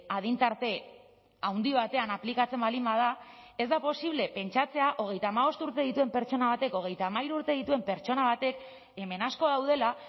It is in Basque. adin tarte handi batean aplikatzen baldin bada ez da posible pentsatzea hogeita hamabost urte dituen pertsona batek hogeita hamairu urte dituen pertsona batek hemen asko daudela